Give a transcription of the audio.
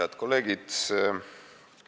Head kolleegid!